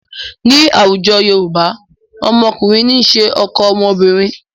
Ní àwùjọ Yorùbá, ọmọkùnrin ní ń ṣe ọkọ ọmọbìnrin.